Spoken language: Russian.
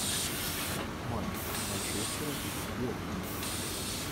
матч манчестера с бернли